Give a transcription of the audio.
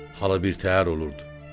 halı bir təhər olurdu.